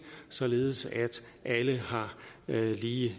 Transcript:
således at alle har lige